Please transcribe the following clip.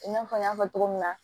I n'a fɔ n y'a fɔ cogo min na